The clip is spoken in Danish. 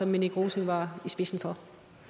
minik rosing var i spidsen for